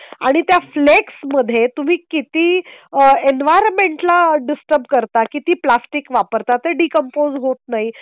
आणि त्या फ्लेक्समध्ये तुम्ही किती एन्व्हरमेंटला डिस्टर्ब करतात. किती प्लॅस्टिक वापरतात. ते डीकम्पोस्ट होत नाही.